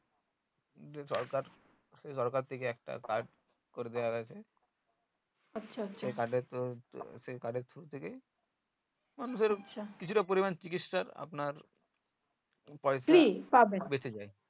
যে সরকার সরকার থেকে একটা card করে দিয়া হয়েছে সেই card এর through থেকেই মানুষের কিছুটা পরিনাম এর চিকিৎসার আপনার